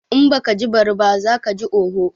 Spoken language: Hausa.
In baka ji bari ba, za kaji oho.